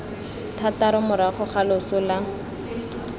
thataro morago ga loso la